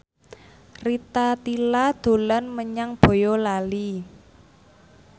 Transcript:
Rita Tila dolan menyang Boyolali